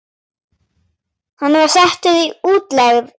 Hann var settur í útlegð.